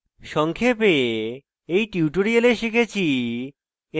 সংক্ষেপে এই টিউটোরিয়ালে আমরা শিখেছি